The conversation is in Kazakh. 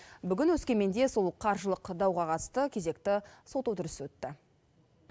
бүгін өскеменде сол қаржылық дауға қатысты кезекті сот отырысы өтті